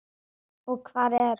Og hvar er hún?